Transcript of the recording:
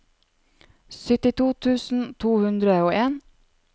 syttito tusen to hundre og en